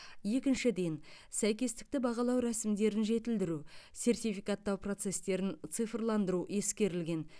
екіншіден сәйкестікті бағалау рәсімдерін жетілдіру сертификаттау процестерін цифрландыру ескерілген